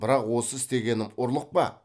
бірақ осы істегенім ұрлық па